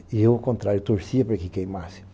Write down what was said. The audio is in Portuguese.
E eu, ao contrário, torcia para que queimasse.